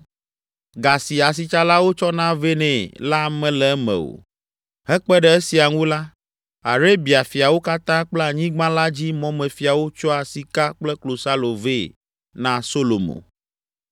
ga si asitsalawo tsɔna vɛ nɛ la mele eme o. Hekpe ɖe esia ŋu la, Arabia fiawo katã kple anyigba la dzi mɔmefiawo tsɔa sika kple klosalo vɛ na Solomo.